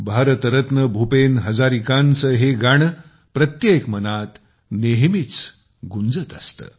भारतरत्न भूपेन हजारिकांचे हे गाणे प्रत्येक मनात नेहमीच गुंजत असते